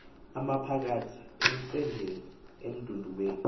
amaphakath emcengel emdudweni